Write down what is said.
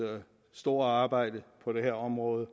store arbejde på det her område